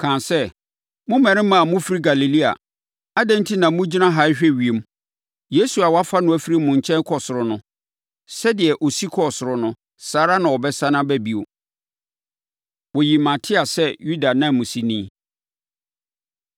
kaa sɛ, “Mo mmarima a mofiri Galilea, adɛn enti na mogyina ha rehwɛ ewiem? Yesu a wɔafa no afiri mo nkyɛn kɔ ɔsoro no, sɛdeɛ ɔsi kɔɔ ɔsoro no, saa ara na ɔbɛsane aba bio.” Wɔyi Matia Sɛ Yuda Nanmusini